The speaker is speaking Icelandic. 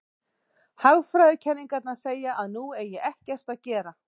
Hagfræðikenningarnar segja að nú eigi ekkert að gera.